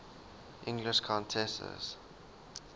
english countesses